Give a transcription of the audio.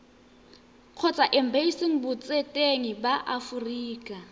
kgotsa embasing botseteng ba aforika